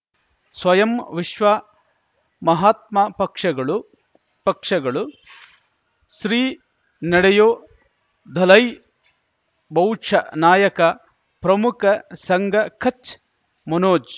ಸ್ವಯಂ ವಿಶ್ವ ಮಹಾತ್ಮ ಪಕ್ಷಗಳು ಪಕ್ಷಗಳು ಶ್ರೀ ನಡೆಯೂ ದಲೈ ಬೌಚ ನಾಯಕ ಪ್ರಮುಖ ಸಂಘ ಕಚ್ ಮನೋಜ್